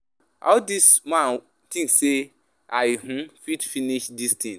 How dis man think say I um fit finish dis thing.